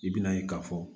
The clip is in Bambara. I bina ye ka fɔ